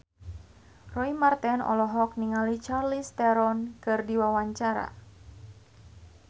Roy Marten olohok ningali Charlize Theron keur diwawancara